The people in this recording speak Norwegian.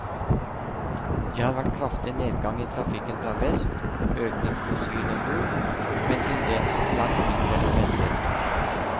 Det har vært kraftig nedgang i trafikken fra vest, økning fra syd og nord, men til dels langt mindre enn ventet.